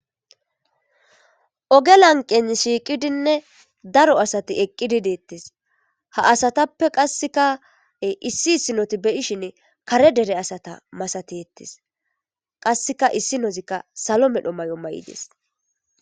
Oge lanqen shiiqidinne daro asati eqqidi deettis ha asatappe qasseka issi issinoti beyishin kare dere asata masati hettis qasseka issi nozikka salo medho mayo mayides